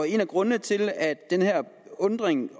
en af grundene til at den her undren